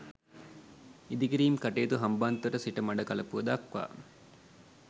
ඉදිකිරීම් කටයුතු හම්බන්තොට සිට මඩකලපුව දක්වා